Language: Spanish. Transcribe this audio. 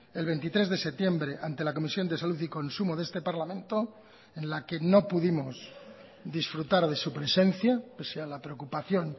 el veintitrés de septiembre ante la comisión de salud y consumo de este parlamento en la que no pudimos disfrutar de su presencia pese a la preocupación